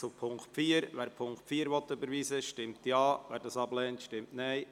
Wer die Ziffer 3 der Motion überweisen will, stimmt Ja, wer diese ablehnt, stimmt Nein.